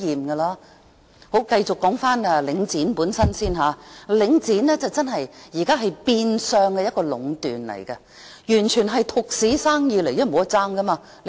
說回領展本身，領展現時真是變相壟斷，完全是獨市生意，因為沒有競爭。